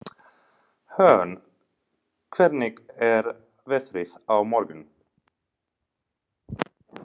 Hörn, hvernig er veðrið á morgun?